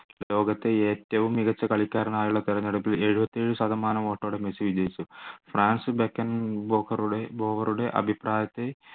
ലോകത്തെ ഏറ്റവും മികച്ച കളിക്കാരനായുള്ള തിരഞ്ഞെടുപ്പിൽ എഴുപത്തിയേഴ് ശതമാനം vote ഓടെ മെസ്സി വിജയിച്ചു അഭിപ്രായത്തെ